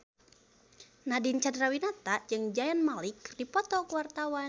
Nadine Chandrawinata jeung Zayn Malik keur dipoto ku wartawan